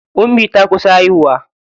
Ummi ta kusa haihuwa.